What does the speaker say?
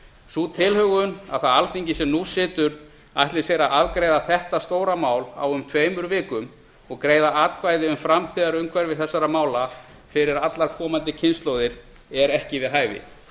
sú tilhögun að það alþingi sem nú situr ætli sér að afgreiða þetta stóra mál á um tveimur vikum og greiða atkvæði um framtíðarumhverfi þessara mála fyrir allar komandi kynslóðir er ekki við hæfi